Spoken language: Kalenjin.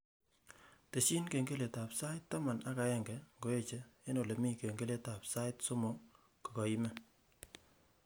Tesyi kengeletab sait taman ak agenge ngoeche eng olemiten kengeletab sait somok kogaimen